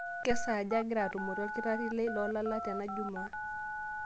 kesaaja ang'ira atumore olkitari lai loolala tena jumaa